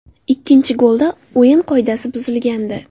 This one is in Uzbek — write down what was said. Ikkinchi golda o‘yin qoidasi buzilgandi.